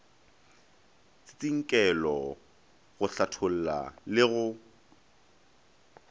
tsintsinkelo go hlatholla le go